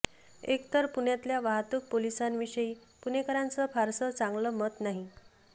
एकतर पुण्यातल्या वाहतूक पोलिसांविषयी पुणेकरांचं फारसं चांगलं मत नाही